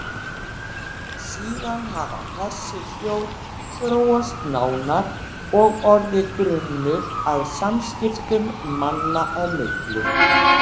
Síðan hafi þessi hljóð þróast nánar og orðið grunnur að samskiptum manna á milli.